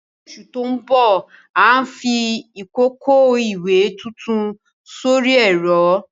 Ní oṣù tó ń bọ̀, à ń fi ìkòkò ìwẹ̀ tuntun sórí ẹ̀rọ.